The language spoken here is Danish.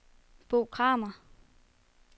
Bo Kramer